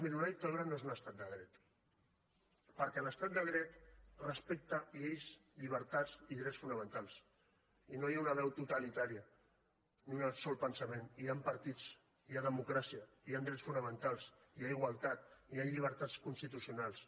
miri una dictadura no és un estat de dret perquè l’estat de dret respecta lleis llibertats i drets fonamentals i no hi ha una veu totalitària ni un sol pensament hi han partits hi ha democràcia hi han drets fonamentals hi ha igualtat hi han llibertats constitucionals